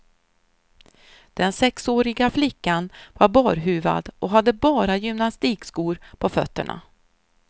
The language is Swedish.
Den sexåriga flickan var barhuvad och hade bara gymnastikskor på fötterna.